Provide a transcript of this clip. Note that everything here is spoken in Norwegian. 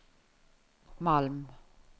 Malm